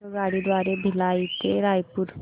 आगगाडी द्वारे भिलाई ते रायपुर